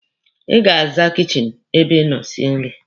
Ị ga-aza kichin ebe ị nọ sie nri.